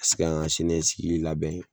ka se ka an ka sini ɲɛsigi labɛn